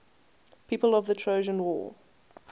people of the trojan war